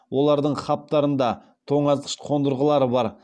олардың хабтарында тоңазытқыш қондырғылар бар